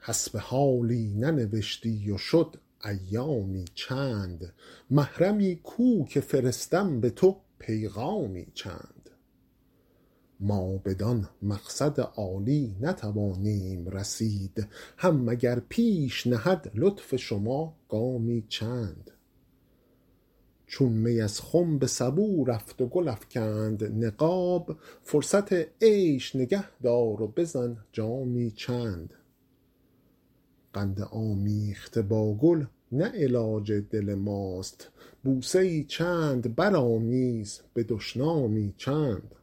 حسب حالی ننوشتی و شد ایامی چند محرمی کو که فرستم به تو پیغامی چند ما بدان مقصد عالی نتوانیم رسید هم مگر پیش نهد لطف شما گامی چند چون می از خم به سبو رفت و گل افکند نقاب فرصت عیش نگه دار و بزن جامی چند قند آمیخته با گل نه علاج دل ماست بوسه ای چند برآمیز به دشنامی چند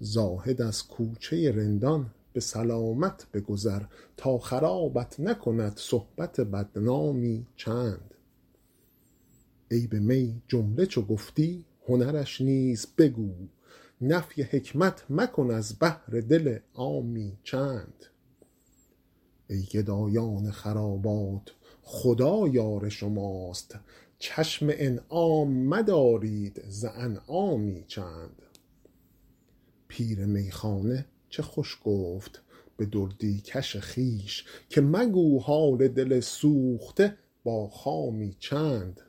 زاهد از کوچه رندان به سلامت بگذر تا خرابت نکند صحبت بدنامی چند عیب می جمله چو گفتی هنرش نیز بگو نفی حکمت مکن از بهر دل عامی چند ای گدایان خرابات خدا یار شماست چشم انعام مدارید ز انعامی چند پیر میخانه چه خوش گفت به دردی کش خویش که مگو حال دل سوخته با خامی چند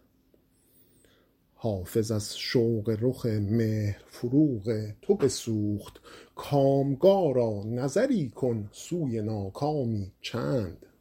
حافظ از شوق رخ مهر فروغ تو بسوخت کامگارا نظری کن سوی ناکامی چند